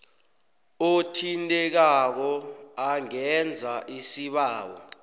othintekako angenza isibawo